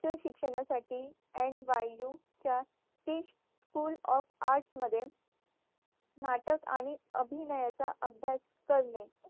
च शिक्षणासाठी NYU च्या एक school of arts मध्ये नाटक आणि अभिनयाचा अभ्यास करणे